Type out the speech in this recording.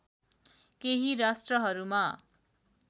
केही राष्ट्रहरूमा